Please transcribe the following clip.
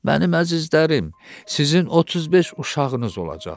Mənim əzizlərim, sizin 35 uşağınız olacaq.